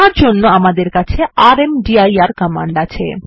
তার জন্য আমাদের কাছে রামদির কমান্ড আছে